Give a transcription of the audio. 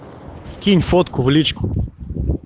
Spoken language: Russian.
скинь фотку в личку